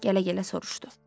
Gələ-gələ soruşdu.